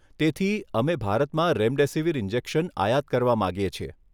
તેથી, અમે ભારતમાં રેમડેસિવીર ઇન્જેક્શન આયાત કરવા માંગીએ છીએ.